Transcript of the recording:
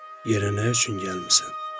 Yerə nə üçün gəlmisən?